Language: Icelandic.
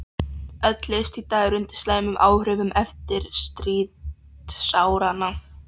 Öll list í dag er undir slæmum áhrifum eftirstríðsáranna.